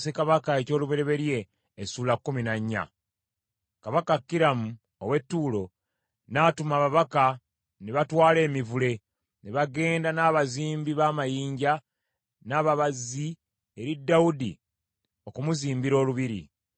Kabaka Kiramu ow’e Ttuulo n’atuma ababaka ne batwala emivule, ne bagenda n’abazimbi b’amayinja, n’ababazzi eri Dawudi okumuzimbira olubiri.